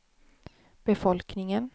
befolkningen